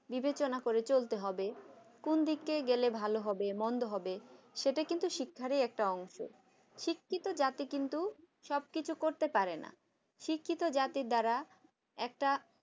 বিবেচনা করে চলতে হবে কোন দিকে গেলে ভালো হবে মন্দ হবে সেটা কিন্তু শিক্ষারই একটি অংশ শিক্ষিত জাতি কিন্তু সবকিছু করতে পারে না। শিক্ষিত জাতির দ্বারা একটা